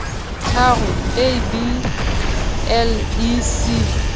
tharo a b le c